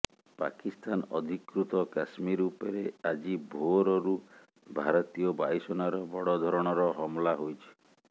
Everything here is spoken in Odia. ପାକିସ୍ତାନ ଅଧିକୃତ କଶ୍ମୀର ଉପରେ ଆଜି ଭୋରରରୁ ଭାରତୀୟ ବାୟୁସେନାର ବଡ଼ ଧରଣର ହମଲା ହୋଇଛି